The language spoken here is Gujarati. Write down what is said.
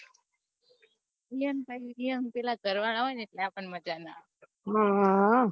ઈયોનેન પીલા ઘરવાળા હોય ને એટલ આપને મજા ના આવે હમ